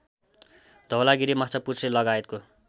Dhaulagiri माछापुच्छ्रेलगायतको